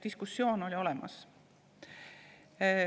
Diskussioon oli olemas.